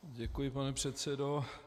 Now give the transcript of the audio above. Děkuji, pane předsedo.